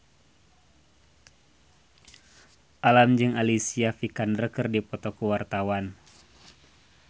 Alam jeung Alicia Vikander keur dipoto ku wartawan